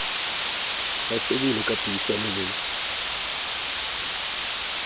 ya sebele ka puisano le